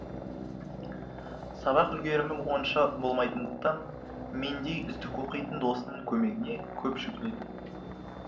сабақ үлгерімі онша болмайтындықтан мендей үздік оқитын досының көмегіне көп жүгінетін